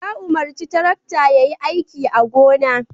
Ya umarci tarakta ya yi aiki a gona.